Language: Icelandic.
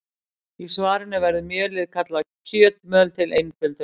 Í svarinu verður mjölið kallað kjötmjöl til einföldunar.